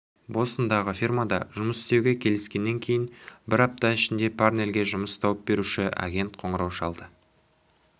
бостондағы фирмада жұмыс істеуге келіскеннен кейін бір апта ішінде парнельге жұмыс тауып беруші агент қоңырау шалды